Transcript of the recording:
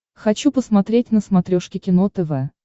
хочу посмотреть на смотрешке кино тв